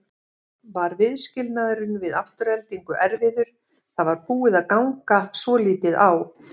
Var viðskilnaðurinn við Aftureldingu erfiður, það var búið að ganga svolítið á?